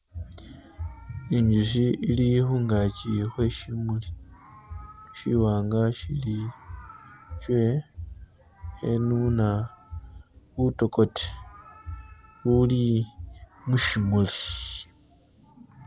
Injushi ili khungaki khwe shimuli shiwanga shili she khenuna butokote ubuuli mushimuli.